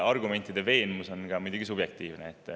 Argumentide veenvus on muidugi subjektiivne.